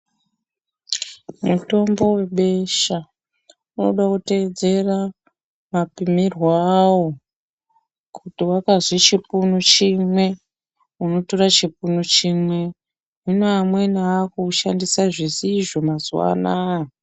Mutombo webesha unode kuteedzera mapimirwo awo. Kuti wakazwi chipunu chimwe, unotore chipunu chimwe, hino amweni akuwushandisa zvisizvo mazuwaanaa.